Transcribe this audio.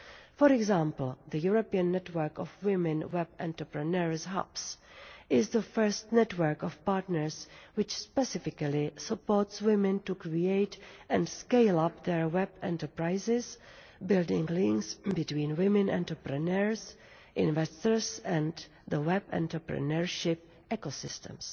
For example, the European Network of Women Web Entrepreneurs Hubs is the first network of partners which specifically supports women to create and scale up their web enterprises, building links between women entrepreneurs, investors and the web entrepreneurship ecosystems.